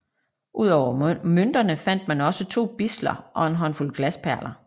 Ud over mønterne fandt man også to bidsler og en håndfuld glasperler